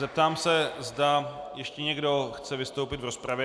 Zeptám se, zda ještě někdo chce vystoupit v rozpravě.